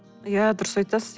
иә дұрыс айтасыз